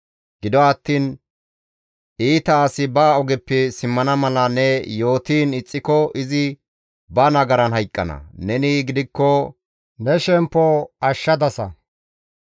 Gido attiin iita asi ba ogeppe simmana mala ne yootiin ixxiko izi ba nagaran hayqqana; neni gidikko ne shemppo ashshana.